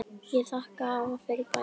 Ég þakka afa fyrir bæði.